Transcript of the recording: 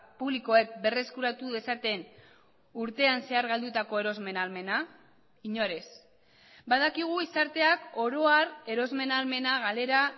publikoek berreskuratu dezaten urtean zehar galdutako erosmen ahalmena inor ez badakigu gizarteak oro har erosmen ahalmena galera